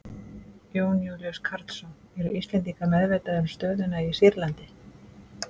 Jón Júlíus Karlsson: Eru Íslendingar meðvitaðir um stöðuna í Sýrlandi?